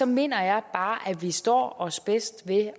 mener jeg bare at vi står os bedst ved